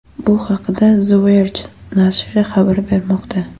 Bu haqda The Verge nashri xabar bermoqda .